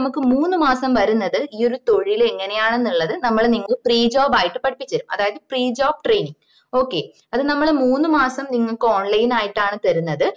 നമക്ക് മൂന്ന് മാസം വരുന്നത് ഈ ഒരു തൊഴില് എങ്ങനെ ആണുള്ളത് നമ്മള് നിങ്ങക്ക് free job ആയിട്ട് പഠിപ്പിച്ചേരും അതായത് free job training okay അത് നമ്മള് മൂന്ന് മാസം നിങ്ങക്ക് online ആയിട്ടാണ് തരുന്നത്